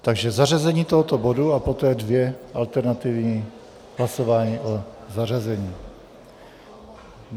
Takže zařazení tohoto bodu a poté dvě alternativní hlasování o zařazení.